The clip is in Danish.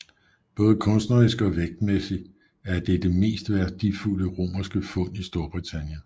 Både kunstnerisk og vægtmæssigt er det det mest værdifuld romerske fund i Storbritannien